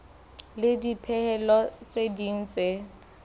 le dipehelo tse ding tse